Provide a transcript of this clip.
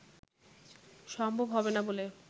সম্ভব হবে না বলে